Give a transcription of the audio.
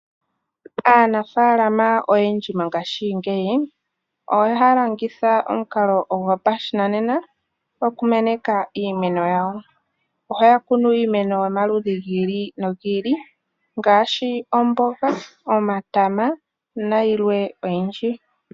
Aanafalama oyendji mongashingeyi, oyo haalongitha omukalo gopashinanena okumeneka iimeno yawo. Ohaya kunu iimeno yomaludhi giili nogiili ngaashi omboga, omatama nayilwe oyindji.